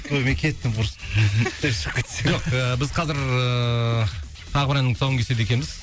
қой мен кеттім құрсын жоқ біз қазір ыыы тағы бір әннің тұсауын кеседі екенбіз